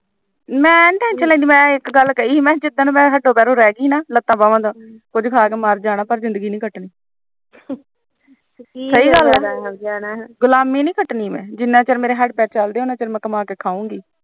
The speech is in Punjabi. ਮੈ ਨੀ ਟ tension ਲੈਂਦੀ ਮੈਂ ਇੱਕ ਗਲ ਕਹੀ ਸੀ ਜਿਦਣ ਮੈਂ ਹੱਥੋੰ ਪੈਰਾ ਰਹਿ ਗਈ ਮੈਂ ਕੁਛ ਖਾ ਕਿ ਮਰ ਜਾਣਾ ਪਰ ਜਿਦਗੀ ਦੀ ਨੀ ਕਟਣੀ ਸਹੀ ਗਲ ਐ ਗੁਲਾਮੀ ਨੀ ਕਟਣੀ ਜਿੰਨਾ ਚੀਰ ਮੇਰੇ ਹਥ ਚਲਦੇ ਮੈਂ ਕੰਮ ਕਰਗੀ